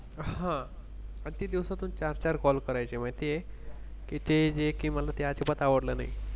हा अगदी दिवसातून चार चार Call करायचे माहितीये, की ते जे की मला ते अजिबात आवडलं नाही.